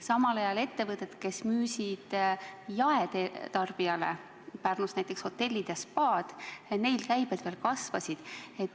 Samal ajal ettevõtetel, kes tegelesid müügiga jaetarbijale, Pärnus näiteks hotellid ja spaad, käibed veel kasvasid.